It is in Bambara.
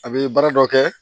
A bɛ baara dɔ kɛ